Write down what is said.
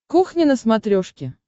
кухня на смотрешке